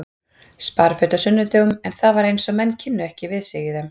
Spariföt á sunnudögum en það var eins og menn kynnu ekki við sig í þeim.